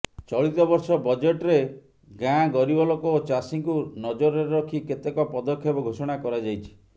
ଚଳିତ ବର୍ଷ ବଜେଟ୍ରେ ଗାଁ ଗରିବ ଲୋକ ଓ ଚାଷୀଙ୍କୁ ନଜରରେ ରଖି କେତେକ ପଦକ୍ଷେପ ଘୋଷଣା କରାଯାଇଛି